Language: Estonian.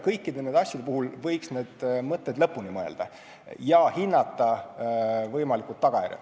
Kõikide nende asjade puhul võiks need mõtted lõpuni mõelda ja hinnata võimalikke tagajärgi.